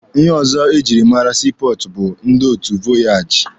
Ihe ọzọ ejiri mara sii pọọtụ bụ ndị otu vọyaaji.